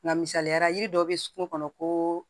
Nga misaliyara yiri dɔ bɛ sokɔnɔ koo